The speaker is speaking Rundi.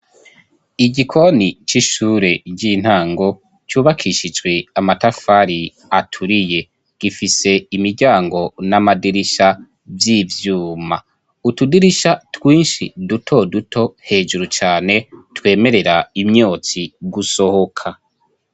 Igikoni c'ishure ry'intango cubakishijwe amatafari aturiye gifise imiryango n'amadirisha vy'ivyuma, utudirisha twinshi duto duto hejuru cane twemerera imyotsi gusohoka.